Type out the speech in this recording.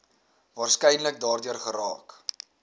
waarskynlik daardeur geraak